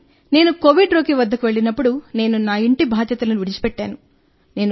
కానీ నేను కోవిడ్ రోగి వద్దకు వెళ్ళినప్పుడు నేను ఇంటి బాధ్యతలను విడిచిపెట్టాను